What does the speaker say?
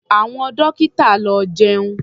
Àwọn dọ́kítà lọ jẹun.